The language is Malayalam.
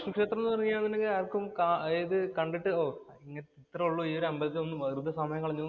മഹാവിഷ്ണു ക്ഷേത്രം എന്ന് പറഞ്ഞുകഴിഞ്ഞാല്‍ ആര്‍ക്കും ക അതായത് കണ്ടിട്ട് ഓ, ഇത്രേയുള്ളൂ ഈ ഒരു അമ്പലത്തില്‍ വന്നു വെറുതെ സമയം കളഞ്ഞൂന്നു